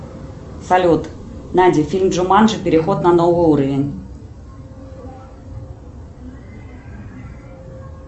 салют найди фильм джуманджи переход на новый уровень